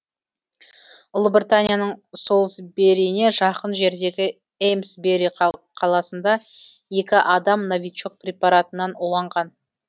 ұлыбританияның солсбериіне жақын жердегі эймсбери қаласында екі адам новичок препаратынан уланған